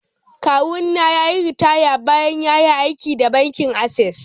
Kawuna ya yi ritaya bayan ya yi aiki da bankin Access.